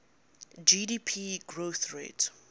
gdp growth rate